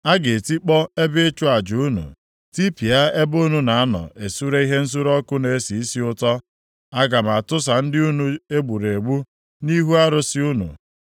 A ga-etikpọ ebe ịchụ aja unu, tipịa ebe unu na-anọ esure ihe nsure ọkụ na-esi isi ụtọ. Aga m atụsa ndị unu e gburu egbu nʼihu arụsị unu.